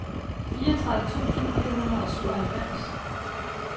fireogtredive tusind fire hundrede og syvoghalvfems